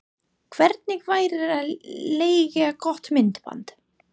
Hvernig væri að leigja gott myndband?